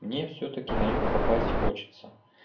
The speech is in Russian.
мне всё-таки на юг попасть хочется